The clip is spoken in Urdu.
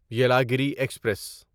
یلاگیری ایکسپریس